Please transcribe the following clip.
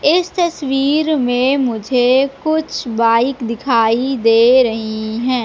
इस तस्वीर में मुझे कुछ बाइक दिखाई दे रही हैं।